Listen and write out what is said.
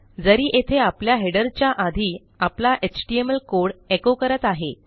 जरी येथे आपल्या हेडरच्या आधी आपला एचटीएमएल कोड echoकरत आहे